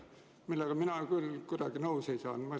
Mina nendega kuidagi nõus ei ole.